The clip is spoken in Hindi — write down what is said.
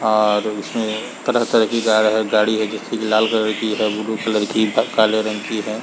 -- और उसमे तरह तरह की कार गाड़ी है जैसे की लाल कलर ब्लू कलर की तत काले रंग की है।